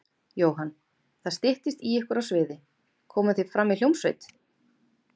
Jóhann: Það styttist í ykkur á sviði, komið þið fram í hljómsveit?